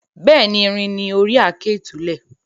Bẹ́ẹ̀ni, irin ni ori àáké ìtúlẹ̀.